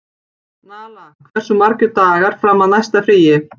Nala, hversu margir dagar fram að næsta fríi?